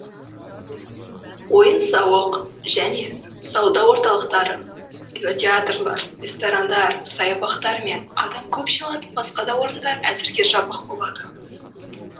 ойын сауық және сауда орталықтары кинотеатрлар ресторандар саябақтар мен адам көп жиналатын басқа да орындар әзірге жабық болады